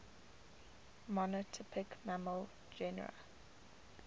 monotypic mammal genera